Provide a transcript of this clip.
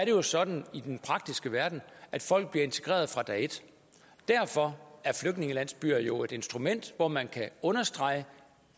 jo sådan i den praktiske verden at folk bliver integreret fra dag et derfor er flygtningelandsbyer jo et instrument hvor man kan understrege